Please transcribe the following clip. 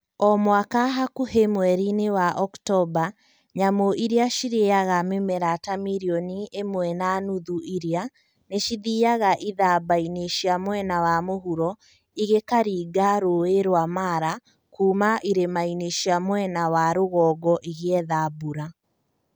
O mwaka hakuhĩ mweri-inĩ wa Oktomba, Nyamũ iria cirĩĩaga mĩmera ta mirioni ĩmwe na nuthu iria , nĩ cithiaga ithamba-inĩ cia mwena wa mũhuro, igĩkaringa Rũũĩ rwa Mara, kuuma irĩma-inĩ cia mwena wa rũgongo igĩetha mbura